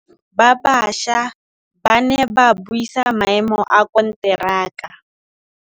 Badiri ba baša ba ne ba buisa maêmô a konteraka.